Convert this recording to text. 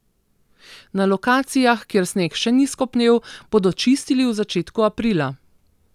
Na lokacijah, kjer sneg še ni skopnel, bodo čistili v začetku aprila.